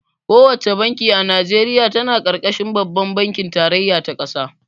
Ko wace banki a Najeriya tana ƙarƙashin babban bankin tarayya ta ƙasa.